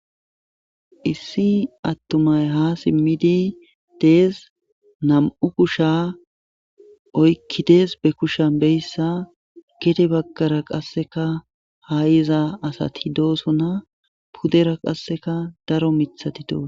issi attumay ha simmidi dees nam7u kusha oykkidees be kushan beyssa gede baggara qasseka ha iza asat doosona pudera qasseka daro mithatito